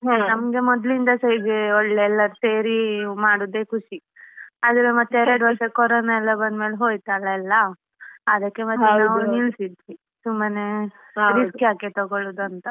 ನಮ್ಗೆ ಮೊದ್ಲಿನಂದಸ ಹೀಗೆ ಒಳ್ಳೆ ಎಲ್ಲ ಸೇರಿ ಮಾಡುದೇ ಖುಷಿ ಅದ್ರ್ ಮತ್ತೆ ಎರಡುವರ್ಷ ಕೊರೋನಾ ಎಲ್ಲ ಬಂದ್ಮೇಲೆ ಹೋಯ್ತಲ್ಲ ಎಲ್ಲ ಅದಕ್ಕೆ ಮತ್ತೆ ನಿಲ್ಸಿದ್ವಿ ಸುಮ್ಮನೆ risk ಯಾಕೆ ತಗೊಳುದು ಅಂತ.